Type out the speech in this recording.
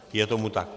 Je tomu tak.